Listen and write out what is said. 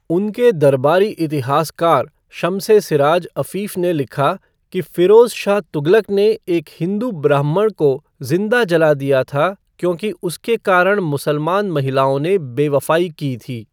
उनके दरबारी इतिहासकार शम्स ए सिराज अफ़ीफ़ ने लिखा कि फ़िरोज़ शाह तुगलक ने एक हिंदू ब्राह्मण को जिंदा जला दिया था क्योंकि उसके कारण मुसलमान महिलाओं ने बेवफ़ाई की थी।